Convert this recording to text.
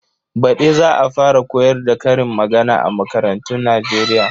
Baɗi za a fara koyar da karin magana a makarantun Nijeriya